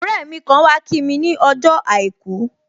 Ọrẹ mi kan wá kí mi ni ọjọ́ àìkú